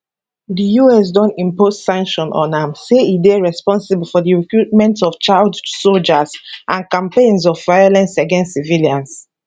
di us don impose sanctions on am say e dey responsible for di recruitment of child sojas and campaigns of violence against civilians